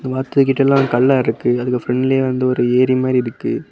இந்த வாத்து கிட்ட எல்லா கல்லா இருக்கு அதுக்கு பிரண்ட்லயே வந்துட்டு ஒரு ஏரி மாரி இருக்கு.